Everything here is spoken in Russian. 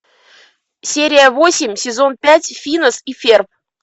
серия восемь сезон пять финес и ферб